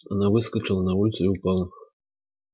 она выскочила на улицу и упала